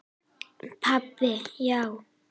Pabbi, já!